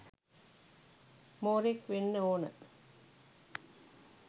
මෝරෙක් වෙන්න ඕන